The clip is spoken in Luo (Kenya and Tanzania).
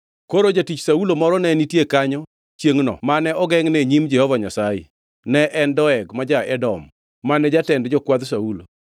Koro jatich Saulo moro ne nitie kanyo chiengʼno mane ogengʼne e nyim Jehova Nyasaye; ne en Doeg ma ja-Edom, mane jatend jokwadh Saulo.